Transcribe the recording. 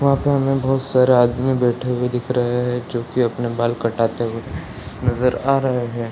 वहाँ पे हमें बहुत सारा आदमी बैठे हुए दिख रहे हैं जो की अपना बाल कटाते हुए नज़र आ रहे हैं |